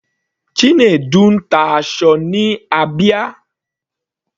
Chinedu ń ta aṣọ ní Abia.